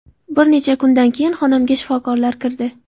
Bir necha kundan keyin xonamga shifokorlar kirdi.